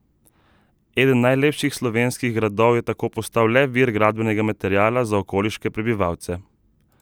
Eden najlepših slovenskih gradov je tako postal le vir gradbenega materiala za okoliške prebivalce!